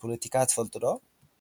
ፖለቲካ ትፈልጡ ዶ?